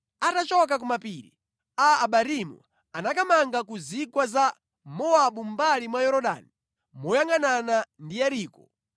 Atachoka ku mapiri a Abarimu anakamanga ku zigwa za Mowabu mʼmbali mwa Yorodani moyangʼanana ndi Yeriko.